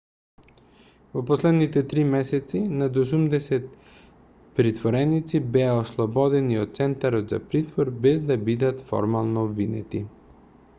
во последните 3 месеци над 80 притвореници беа ослободени од центарот за притвор без да бидат формално обвинети